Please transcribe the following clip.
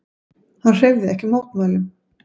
Hann hreyfði ekki mótmælum.